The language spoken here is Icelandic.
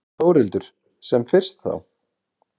Þórhildur: Sem fyrst þá?